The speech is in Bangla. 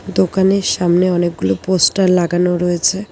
দোকানের সামনে অনেকগুলো পোস্টার লাগানো রয়েছে।